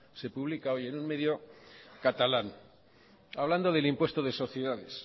se publica hoy en un medio catalán hablando del impuesto de sociedades